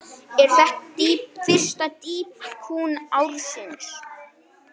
Er þetta fyrsta dýpkun ársins.